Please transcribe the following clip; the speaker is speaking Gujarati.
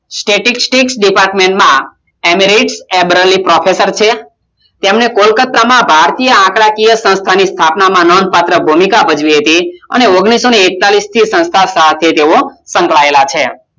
Static Department માં એમરેલીક પોફેસર છે તેમને કોલકાતામાં ભારતીય આંકડા સંસ્થાની સ્થાપનામાં ભૂમિકા ભજવી હતી ઓગણિસઓને એક્તાલીસથી તે સંસ્થા સંકળાયેલા છે